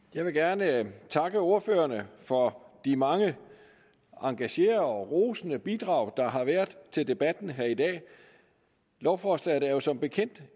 jeg vil gerne takke ordførerne for de mange engagerede og rosende bidrag der har været til debatten her i dag lovforslaget er jo som bekendt